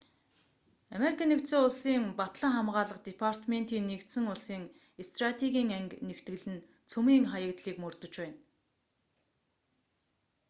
ану-ын батлан хамгаалах департементийн нэгдсэн улсын стратегийн анги нэгтгэл нь цөмийн хаягдлыг мөрдөж байна